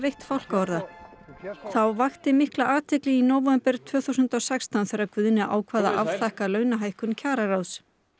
þá vakti mikla athygli í nóvember tvö þúsund og sextán þegar Guðni ákvað að afþakka launahækkun kjararáðs ég bað ekki